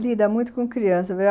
Lida muito com criança.